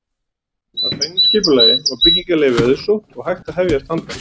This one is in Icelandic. Að fengnu skipulagi var byggingarleyfi auðsótt og hægt að hefjast handa.